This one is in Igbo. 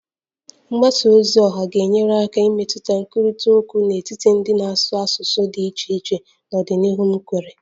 Mgbasa ozi oha ga-enyere aka imetụta nkwurịta okwu n'etiti ndị na-asụ asụsụ dị iche iche n'ọdịnihu m kweere